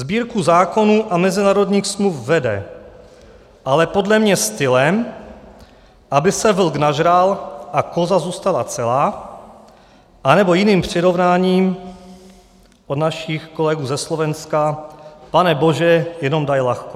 Sbírku zákonů a mezinárodních smluv vede, ale podle mě stylem, aby se vlk nažral a koza zůstala celá, anebo jiným přirovnáním od našich kolegů ze Slovenska, pane bože, jenom daj ľahko.